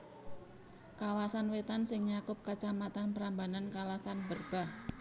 Kawasan Wétan sing nyakup Kacamatan Prambanan Kalasan Berbah